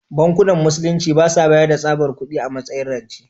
Bankunan Musulunci ba sa bayar da tsabar kudi a matsayin rance.